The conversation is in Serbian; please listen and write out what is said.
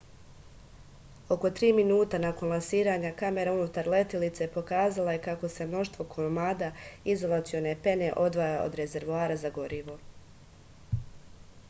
oko 3 minuta nakon lansiranja kamera unutar letilice pokazala je kako se mnoštvo komada izolacione pene odvaja od rezervoara za gorivo